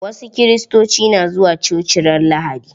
Wasu Kiristoci na zuwa coci ran lahadi.